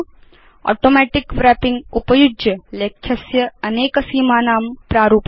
automatic wrapping उपयुज्य लेख्यस्य अनेक सीमानां प्रारूपणम्